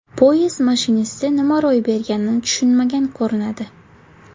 Poyezd mashinisti nima ro‘y berganini tushunmagan ko‘rinadi.